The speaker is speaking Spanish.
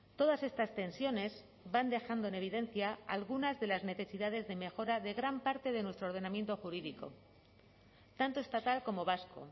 todas estas tensiones van dejando en evidencia algunas de las necesidades de mejora de gran parte de nuestro ordenamiento jurídico tanto estatal como vasco